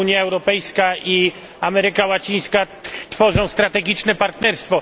Unia Europejska i Ameryka Łacińska tworzą strategiczne partnerstwo.